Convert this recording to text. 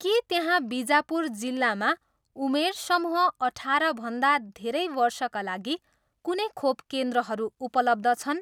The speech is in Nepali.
के त्यहाँ बिजापुर जिल्लामा उमेर समूह अठाह्रभन्दा धेरै वर्षका लागि कुनै खोप केन्द्रहरू उपलब्ध छन्?